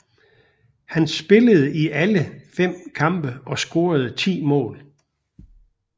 Han spillede i alle fem kampe og scorede ti mål